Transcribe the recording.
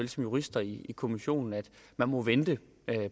som juristerne i kommissionen at man må vente